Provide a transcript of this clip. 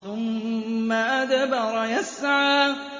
ثُمَّ أَدْبَرَ يَسْعَىٰ